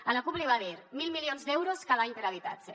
a la cup li va dir mil milions d’euros cada any per a habitatge